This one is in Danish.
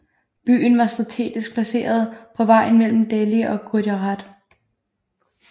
Byen var strategisk placeret på vejen mellem Delhi og Gujarat